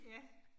Ja